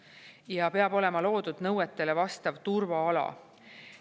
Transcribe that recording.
Ja peab olema loodud nõuetele vastav turvaala.